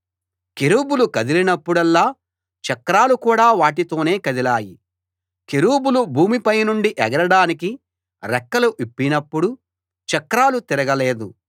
కెరూబులు కదిలినప్పుడల్లా చక్రాలు కూడా వాటితోనే కదిలాయి కెరూబులు భూమి పైనుండి ఎగరడానికి రెక్కలు విప్పినప్పుడు చక్రాలు తిరగలేదు